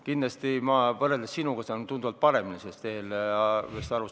Kindlasti saan ma võrreldes sinuga tunduvalt paremini sellest eelarvest aru.